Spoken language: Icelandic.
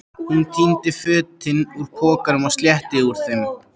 Hún tíndi fötin úr pokanum og slétti úr þeim.